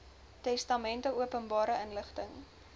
testamente openbare inligting